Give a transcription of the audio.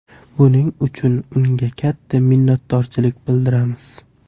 Buning uchun unga katta minnatdorchilik bildiramiz”.